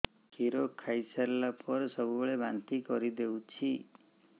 କ୍ଷୀର ଖାଇସାରିଲା ପରେ ସବୁବେଳେ ବାନ୍ତି କରିଦେଉଛି